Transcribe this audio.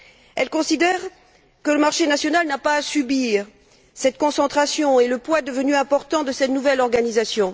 Elles considèrent que le marché national n'a pas à subir cette concentration et le poids devenu important de cette nouvelle organisation.